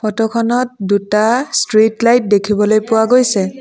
Photo খনত দুটা street light দেখিবলৈ পোৱা গৈছে।